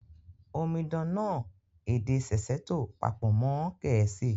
Omidan náà èdè Sesotho pàpò mọn Gẹ̀ẹ̀síì